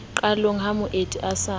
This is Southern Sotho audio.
qalong ha moeti a sa